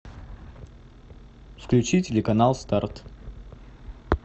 включи телеканал старт